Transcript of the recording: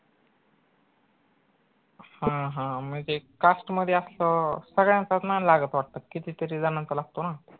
हां हां म ते cast मध्ये असल्यावर सगळ्यांचाच नाई लागत वट्ट किती तरी जणांचा लागतो ना